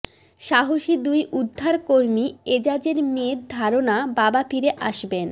সাহসী দুই উদ্ধারকর্মী এজাজের মেয়ের ধারণা বাবা ফিরে আসবেন